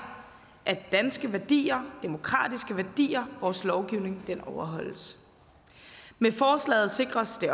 at danske værdier demokratiske værdier og vores lovgivning overholdes med forslaget sikres det